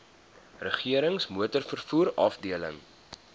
regerings motorvervoer afdeling